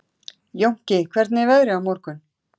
Jónki, hvernig er veðrið á morgun?